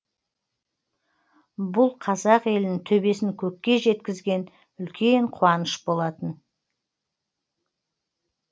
бұл қазақ елін төбесін көкке жеткізген үлкен қуаныш болатын